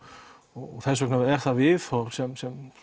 og þess vegna er það viðhorf sem